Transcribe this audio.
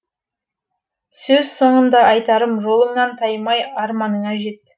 сөз соңында айтарым жолыңнан таймай арманыңа жет